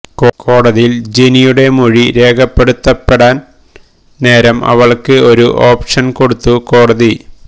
കോടതിയിൽ ജെനിയുടെ മൊഴി രേഖപ്പെടുത്തപ്പെടാൻ നേരം അവൾക്ക് ഒരു ഓപ്ഷൻ കൊടുത്തു കോടതി